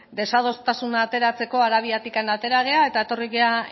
desadostasuna ateratzeko arabiatik atera gera eta etorri gara